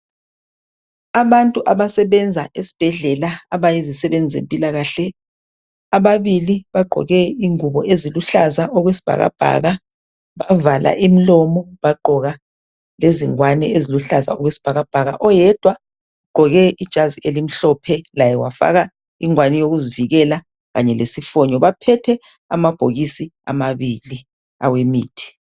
Abantu abasebenza esibhedlela ebayizisebenzi zempilakahle. Ababili bagqoke ingubo eziluhlaza okwesibhakabhaka bavala imilomo baqgoka lezingwane eziluhlaza okwesibhakabhaka. Oyedwa ugqoke ijazi elimhlophe laye wafaka ingwane yokuzivikela kanye lesifonyo. Baphethe amabhokisi amabili ,awemithi.